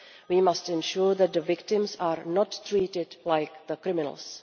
We must ensure that the victims are not treated like the criminals.